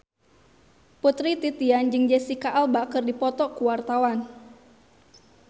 Putri Titian jeung Jesicca Alba keur dipoto ku wartawan